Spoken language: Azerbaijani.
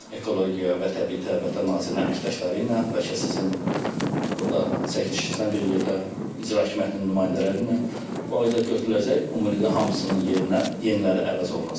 Ekologiya və Təbii Sərvətlər Nazirliyinin əməkdaşları ilə, bəlkə sizin burda çəkilişlərinizlə bir yerdə İcra Hakimiyyətinin nümayəndələri ilə bu ağaclar götürüləcək, ümumilikdə hamısının yerinə yeniləri əvəz olunacaq.